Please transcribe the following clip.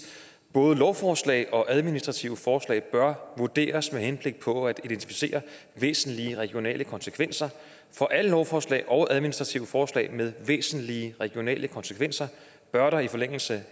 både lovforslag og administrative forslag bør vurderes med henblik på at identificere væsentlige regionale konsekvenser for alle lovforslag og administrative forslag med væsentlige regionale konsekvenser bør der i forlængelser